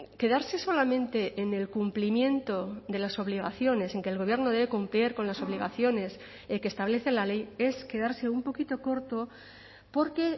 quedarse solamente en el cumplimiento de las obligaciones en que el gobierno debe cumplir con las obligaciones que establece la ley es quedarse un poquito corto porque